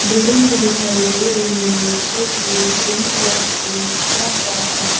Building भी दिखाई दे रही है जो की क्रीमी कलर से पेंट किया गया है।